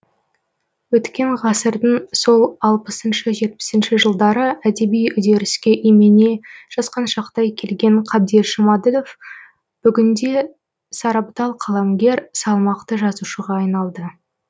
өткен ғасырдың сол алпысыншы жетпісінші жылдары әдеби үдеріске имене жасқаншақтай келген қабдеш жұмаділов бүгінде сарабдал қаламгер салмақты жазушыға айналды